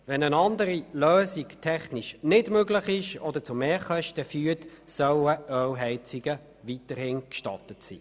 Wenn eine andere Lösung technisch nicht möglich ist oder zu Mehrkosten führt, sollen Ölheizungen weiterhin gestattet sein.